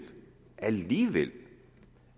alligevel